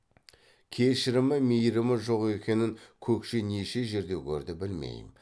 кешірімі мейірімі жоқ екенін көкше неше жерде көрді білмейм